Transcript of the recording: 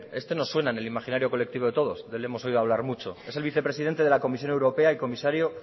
este nos suena en el imaginario colectivo de todos de él hemos oído hablar mucho es el vicepresidente de la comisión europea y comisario